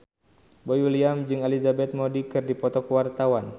Boy William jeung Elizabeth Moody keur dipoto ku wartawan